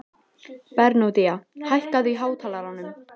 Bernódía, hækkaðu í hátalaranum.